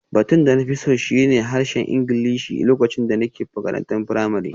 Batun da na fi so shi ne harshen Ingilishi lokacin da nake makarantar firamare